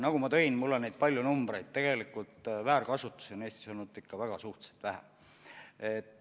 Nagu ma välja tõin, mul on palju numbreid, on tegelikult väärkasutust Eestis olnud ikka suhteliselt vähe.